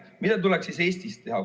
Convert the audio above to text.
Mida tuleks Eestis teha?